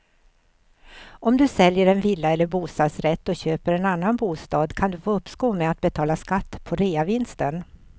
Om du säljer en villa eller bostadsrätt och köper en annan bostad kan du få uppskov med att betala skatt på reavinsten.